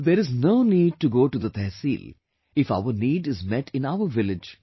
There is no need to go to the tehsil if our need is met in our village